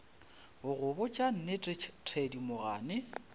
go go botša nnete thedimogane